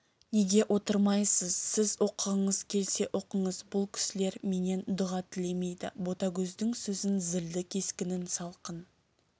неге отырмайсыз сіз оқығыңыз келсе оқыңыз бұл кісілер менен дұға тілемейді ботагөздің сөзін зілді кескінін салқын